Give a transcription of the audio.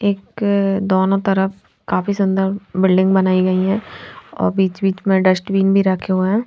एक दोनों तरफ काफी सूंदर बिल्डिंग बनायीं गयी है और बीच बिच में डस्टबिन भी रखे हुए है.